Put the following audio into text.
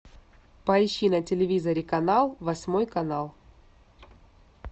поищи на телевизоре канал восьмой канал